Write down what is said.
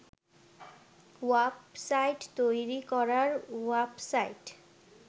ওয়াপ site তৈরি করার ওয়াপ সাইট